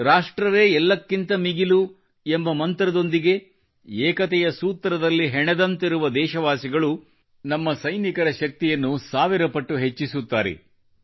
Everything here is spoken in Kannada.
ರಾಷ್ಟ್ರವೇ ಎಲ್ಲಕ್ಕಿಂತ ಮಿಗಿಲು ಎಂಬ ಮಂತ್ರದೊಂದಿಗೆ ಏಕತೆಯ ಸೂತ್ರದಲ್ಲಿ ಹೆಣೆದಂತಿರುವ ದೇಶವಾಸಿಗಳು ನಮ್ಮ ಸೈನಿಕರ ಶಕ್ತಿಯನ್ನು ಸಾವಿರ ಪಟ್ಟು ಹೆಚ್ಚಿಸುತ್ತಾರೆ